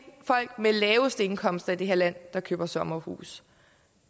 folk med de laveste indkomster i det her land der køber sommerhus